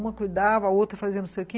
Uma cuidava, a outra fazia não sei o que.